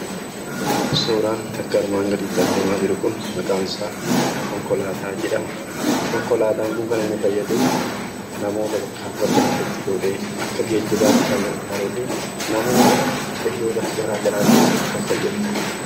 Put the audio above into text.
Suuraan akka armaan gadiitti argamaa jiruu kun, maqaan isaa Konkolaataa jedhama. Konkolaataan kun kan inni fayyadu akka geejjibaatti kan gargaruufi namoota fe'ee bakka gara garaatti geessuuf kan fayyaduudha.